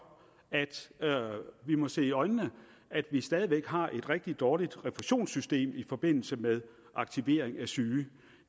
at vi må se i øjnene at vi stadig væk har et rigtig dårligt refusionssystem i forbindelse med aktivering af syge